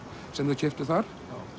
sem þau keyptu þar